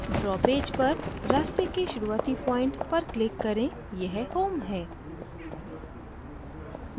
draw page पर रास्ते के शुरूआती point पर click करेंयह home है